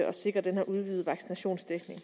at sikre denne udvidede vaccinationsdækning